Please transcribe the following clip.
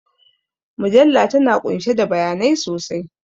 Mujalla tana ƙunshe da bayanai sosai